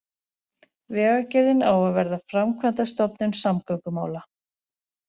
Vegagerðin á að verða framkvæmdastofnun samgöngumála